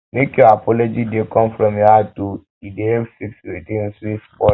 make your apology dey come from heart o e dey help fix tins wey spoil